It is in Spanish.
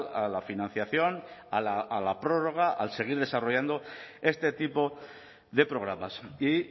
a la financiación a la prórroga al seguir desarrollando este tipo de programas y